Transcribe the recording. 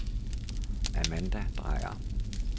Amanda Drejer